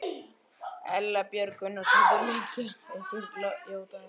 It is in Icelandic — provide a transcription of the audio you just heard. Erla Björg Gunnarsdóttir: Liggja einhverjar játningar fyrir?